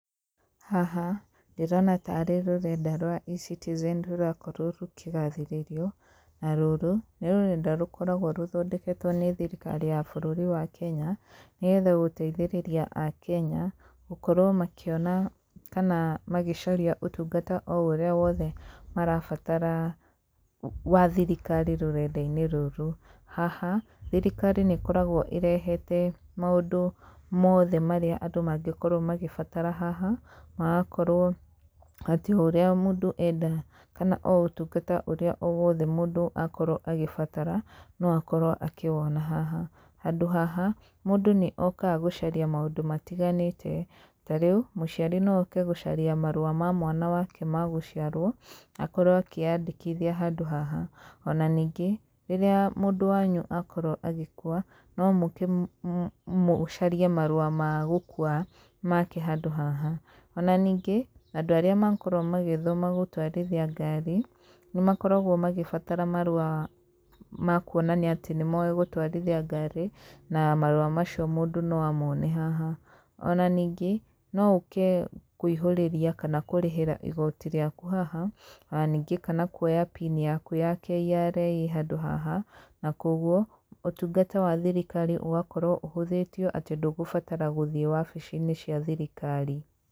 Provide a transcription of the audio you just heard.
Haha ndĩrona tarĩ rũrenda rwa eCitizen rũrakorwo rũkĩgathĩrĩrio, na rũrũ nĩ rũrenda rũkoragwo rũthondeketwo nĩ thirikari ya bũrũri wa Kenya, nĩgetha gũteithĩrĩria Akenya, gũkorwo makĩona kana magĩcaria ũtungata o ũrĩa wothe marabatara wa thirikari rũrenda-inĩ rũrũ. Haha thirikari nĩ ĩkoragwo ĩrehete maũndũ mothe marĩa andũ mangĩkorwo magĩbatara haha magakorwo atĩ o ũrĩa mũndũ enda kana o ũtungata ũrĩa o wothe mũndũ akorwo agĩbatara no akorwo akĩwona haha. Handũ haha mũndũ nĩ okaga gũcaria maũndũ matiganĩte, ta rĩu mũciari no oke gũcaria marũa ma mwana wake ma gũciarwo, akorwo akĩyandĩkithia handũ haha, ona ningĩ rĩrĩa mũndũ wanyu akorwo agĩkua, no mũke mũcarie marũa ma gũkua make handũ haha. Ona ningĩ andũ arĩa makorwo magĩthoma gũtwarithia ngaari, nĩ makoragwo magĩbatara marũa ma kuonania atĩ nĩ moĩ gũtwarithia ngaari, na marũa macio mũndũ no amone haha, ona ningĩ no ũke kũihũrĩria kana kũrĩhĩra igooti rĩaku haha, ona ningĩ kana kuoya pini yaku ya KRA handũ haha, na koguo ũtungata wa thirikari ũgakorwo ũhũthĩtio atĩ ndũgũbatara gũthiĩ wabici-inĩ cia thirikari.